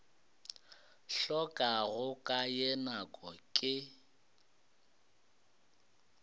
hlokago ka ye nako ke